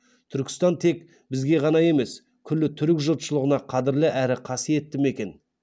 түркістан тек бізге ғана емес күллі түрік жұртшылығына қадірлі әрі қасиетті мекен